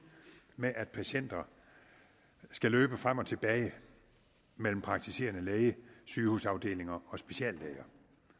med at patienter skal løbe frem og tilbage mellem praktiserende læge sygehusafdelinger og speciallæger